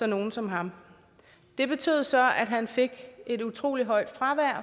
nogle som ham det betød så at han fik et utrolig højt fravær